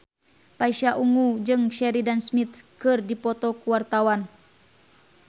Pasha Ungu jeung Sheridan Smith keur dipoto ku wartawan